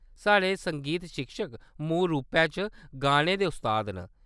साढ़े संगीत शिक्षक मूल रूपै च गाने दे उस्ताद न।